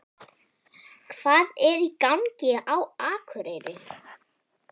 HVAÐ ER Í GANGI Á AKUREYRI?